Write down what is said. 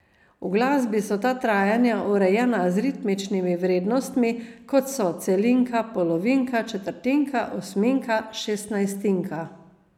V glasbi so ta trajanja urejena z ritmičnimi vrednostmi, kot so celinka, polovinka, četrtinka, osminka, šestnajstinka ...